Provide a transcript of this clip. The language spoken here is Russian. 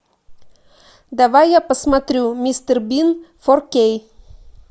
давай я посмотрю мистер бин фор кей